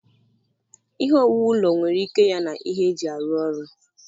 Ihe owuwu ụlọ nwere ike ya na ihe eji arụ ọrụ.